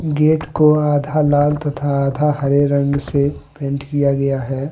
Gate को आधा लाल तथा आधा हरे रंग से पेंट किया गया है।